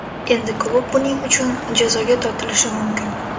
Endi klub buning uchun jazoga tortilishi mumkin.